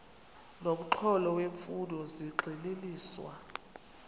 nomxholo wemfundo zigxininiswa